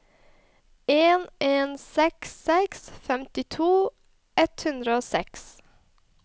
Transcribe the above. en en seks seks femtito ett hundre og seks